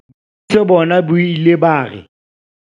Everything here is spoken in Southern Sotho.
Boikwetliso bona bo ile ba re.